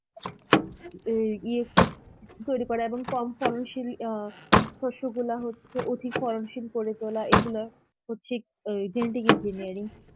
ওই ইয়ে তৈরি করা এবং কম ফলনশীল অ্যাঁ শস্যগুলা হচ্ছে অধিক ফলনশীল করে তোলা, এইগুলা হচ্ছে ওই genetic engineering.